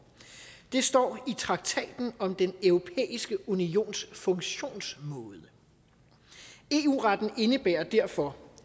det står i traktaten om den europæiske unions funktionsmåde eu retten indebærer derfor